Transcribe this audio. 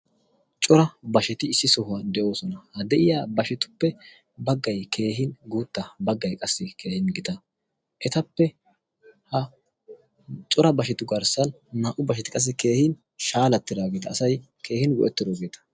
cora basheti issi sohuwaa de'oosona ha de'iya bashetuppe baggay keehin guutta baggai qassi keehin gita etappe ha cora bashetu garssan naa''u basheti qassi keehin shaalattidaageeta asay keehin go'ettidoogeeta